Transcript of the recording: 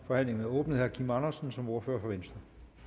forhandlingen er åbnet herre kim andersen som ordfører for venstre